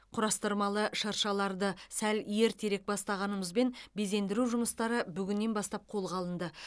құрастырылмалы шыршаларды сәл ертерек бастағанымызбен безендендіру жұмыстары бүгіннен бастап қолға алынды